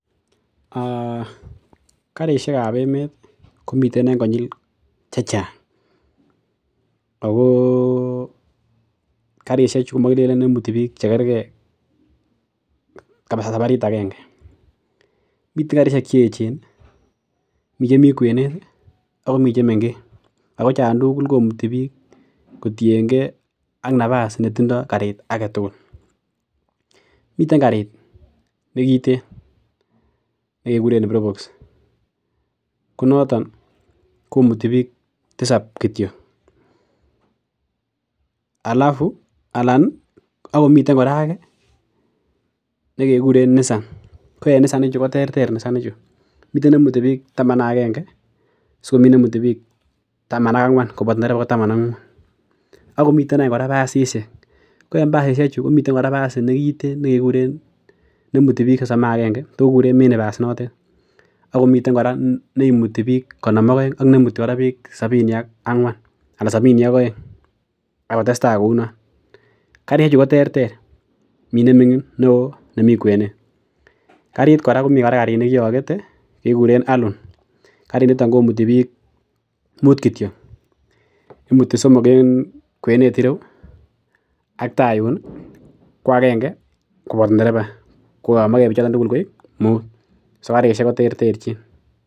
um karisiekab emeet komi konyil chechang ako karisiechu komagikenen imuti bik chekerke sabarit aenge miten karissiek cheechen, miten chemi kwenet ago mi chemengech ako choon tugul komauti bik kotienge nafas netindo garit agetugul. miten garit nekiten nekikuren propox konoton komuti bik tisap kityo alafu miten nekikuren Nissan ko en Nissan ichu koterter Nissan ichu, miten nemuti bik taman ak agenge asikomi nemuti bik taman ak muut koboto ndereba akomiten eny kora basisiek, ko en basisiek komi nekiten nekikuren, imuti bik sosom agaenge kekuren minibus notet. Miten kora neimuti bik konom ak aeng ak neimuti bik sabini ak aeng . karisiek chu ko terter mi ne ming'in, mi neo ak ne mi kuenet . Karit kora ko mi nekiogete nekikuren allon imuti somok en kwenet ireu ak tai yuun ih ko agenge ko ndereba ngoyomage bichoto tugul koegu muut. so karisiek ko terter chin.